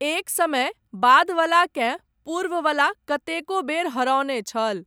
एक समय, बादवलाकेँ, पूर्ववला, कतेको बेर हरओने छल।